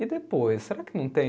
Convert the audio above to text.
E depois, será que não tem?